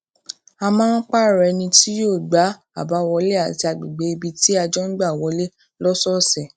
a máa ń pààrò ẹni tí yóò gbá àbáwọlé àti agbègbè ibi tí a jọ ń gbà wọlé lósòòsè